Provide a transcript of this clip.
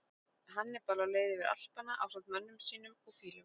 Hannibal á leið yfir Alpana ásamt mönnum sínum og fílum.